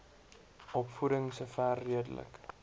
opvoeding sover redelik